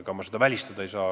Ega ma seda välistada ei saa.